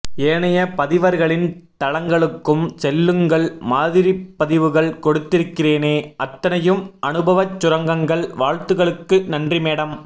ஏனைய பதிவர்களின் தளங்களுக்கும் செல்லுங்கள் மாதிரிப்பதிவுகள் கொடுத்திருகிறேனே அத்தனையும் அனுபவச் சுரங்கங்கள் வாழ்த்துக்களுக்கு நன்றி மேடம்